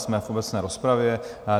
Jsme v obecné rozpravě.